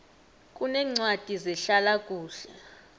kuneencwadi zehlala kuhle